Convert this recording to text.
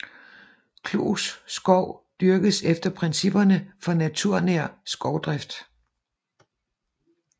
Klus Skov dyrkes efter principperne for naturnær skovdrift